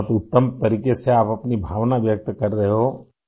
آپ اپنے جذبات کا اظہار بہت اچھے انداز میں کر رہے ہیں